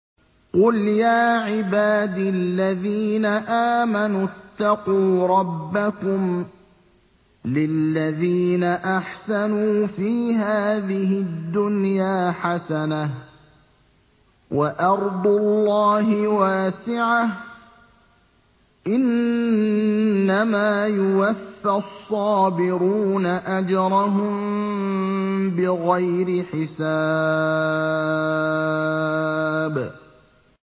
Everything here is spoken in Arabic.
قُلْ يَا عِبَادِ الَّذِينَ آمَنُوا اتَّقُوا رَبَّكُمْ ۚ لِلَّذِينَ أَحْسَنُوا فِي هَٰذِهِ الدُّنْيَا حَسَنَةٌ ۗ وَأَرْضُ اللَّهِ وَاسِعَةٌ ۗ إِنَّمَا يُوَفَّى الصَّابِرُونَ أَجْرَهُم بِغَيْرِ حِسَابٍ